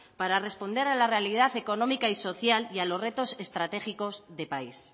para responder a la realidad económica y social y a los retos estratégicos de país